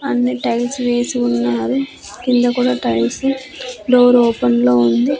అన్ని టైల్స్ వేసి ఉన్నావి కింద కూడా టైల్స్ డోర్ ఓపెన్లో ఉంది.